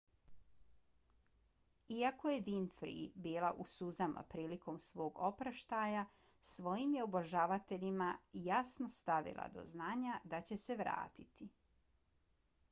iako je winfrey bila u suzama prilikom svog oproštaja svojim je obožavateljima jasno stavila do znanja da će se vratiti